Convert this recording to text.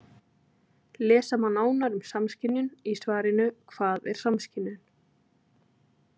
Lesa má nánar um samskynjun í svarinu Hvað er samskynjun.